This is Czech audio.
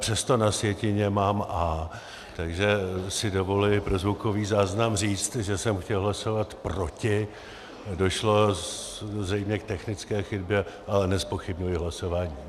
Přesto na sjetině mám "A", takže si dovoluji pro zvukový záznam říct, že jsem chtěl hlasovat proti, došlo zřejmě k technické chybě, ale nezpochybňuji hlasování.